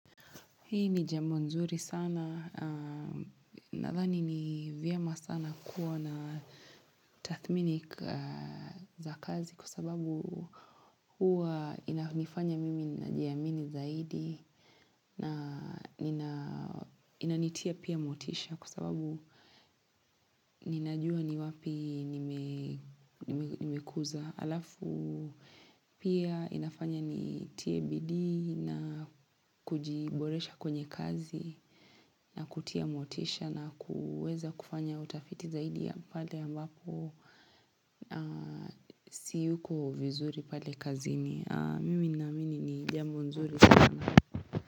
Hii ni jambo nzuri sana nathani ni vyema sana kuwa na tathmini za kazi kwa sababu huwa inanifanya mimi najiamini zaidi na inanitia pia motisha kwa sababu ninajua ni wapi nimekuza. Alafu pia inafanya nitie bidii na kujiboresha kwenye kazi na kutia motisha na kuweza kufanya utafiti zaidi ya pale ambapo siyuko vizuri pale kazini. Mimi naamini ni jambo nzuri sana.